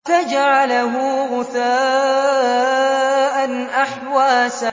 فَجَعَلَهُ غُثَاءً أَحْوَىٰ